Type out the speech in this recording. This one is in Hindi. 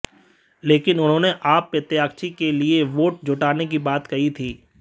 लेकिन उन्होंने आप प्रत्याशी के लिए वोट जुटाने की बता कही थी